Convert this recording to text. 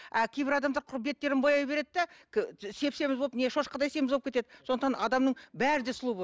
а кейбір адамдар құр беттерін бояй береді де сеп семіз болып не шошқадай семіз болып кетеді сондықтан адамның бәрі де сұлу